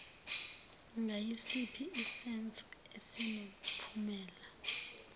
ngayisiphi isenzo esinomphumela